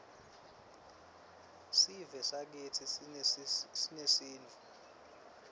sivesakitsi sinesintfu